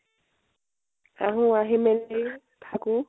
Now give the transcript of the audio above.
আহো, আহি মেলি থাকো